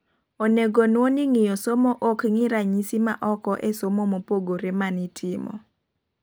Onego nuo ni ngiyo somo ok ng'ii ranyisi ma oko e somo mopogore manitimo